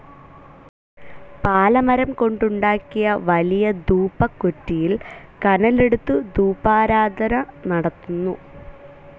പാലമരംകൊണ്ടുണ്ടാക്കിയ വലിയ ധൂപകുറ്റിയിൽ കനലെടുത്തു ധൂപാരാധന നടത്തുന്നു.